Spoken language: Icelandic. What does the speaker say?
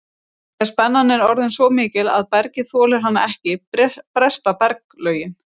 Þegar spennan er orðin svo mikil að bergið þolir hana ekki bresta berglögin.